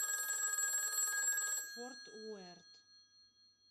форт уэрт